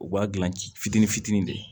U b'a dilan ci fitinin fitinin de ye